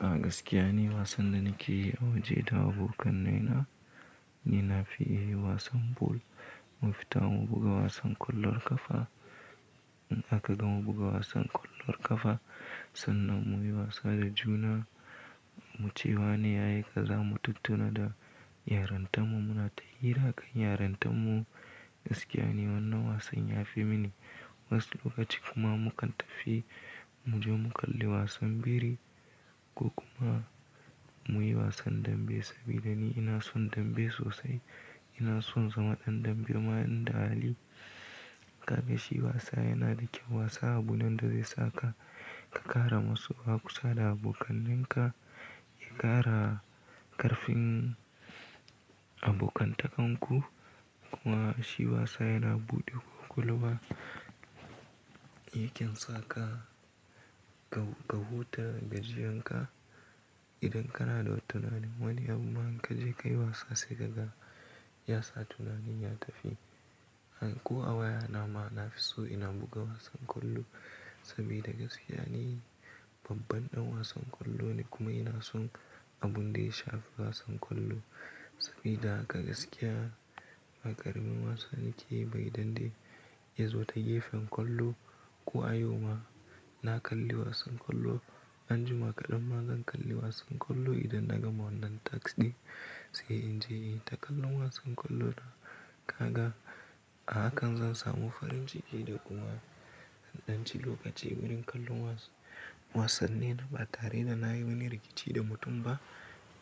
Gaskiya ne wasan da nake yi a waje da abokanai na, ni na fi yi wasan ball. Mu fita mu buga wasan kwallon kafa, in aka gama buga wasan kwallon kafa sannan mu yi wasa da juna. Mu ce wa ne ya yi, kaza mu tattuna da iyaranta mu. Muna ta hira kan yaranta mu. Gaskiya ne wannan wasan ya fi mini. Wani lokaci kuma mu kan tafi mu je mu kalli wasan biri ko kuma mu yi wasan dambe saboda ni ina son dambe sosai. Ina son zama ɗan dambe kuma inda hali ka ga shi yasa yana da kyau. Wasa abu ne da zai sa ka, ka ƙara masoya kusa da abokannenka, ka ƙara ƙarfin abokantakanku. Kuma shi wasa yana buɗe ƙwaƙwalwa. Ya kyan sa ka, ka, ka huta da gajiyanka idan kana da wata tunani wani amma in ka je ka yi wasa sai gaga, ya sa tunanin ya tafi. Ko a wayana ma na fi so ina buga wasan kwallo sabida gaskiya ne babban ɗan wasan kwallo ne kuma ina son abun da ya shafi wasan kwallo sabida haka gaskiya. Ba ƙaramin wasa nake ba idande ya zo ta gefen kwallo. Ko a yau ma na kalli wasan kwallo anjima kaɗan ma zan kalli wasan kwallo idan na gama wannan task ɗin sai in je in ta kalla wasan kwallo na. Kaga a hakan zan samu farin ciki da kuma in ɗan ci lokaci wurin kallon was, wasanni na ba tare da na yi wani rikici da mutum ba.